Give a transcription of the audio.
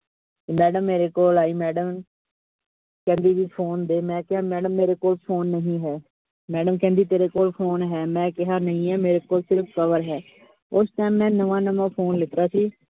madam ਮੇਰੇ ਕੋਲ ਆਈ madam ਕਹਿੰਦੀ ਵੀ phone ਦੇ, ਮੈਂ ਕਿਆ madam ਮੇਰੇ ਕੋਲ phone ਨਹੀਂ ਹੈ. madam ਕਹਿੰਦੀ ਤੇਰੇ ਕੋਲ phone ਹੈ, ਮੈਂ ਕਿਹਾ ਨਹੀਂ ਹੈ ਮੇਰੇ ਕੋਲ ਸਿਰਫ cover ਹੈ ਉਸ time ਮੈਂ ਨਵਾਂ-ਨਵਾਂ phone ਲੀਤਾ ਸੀ।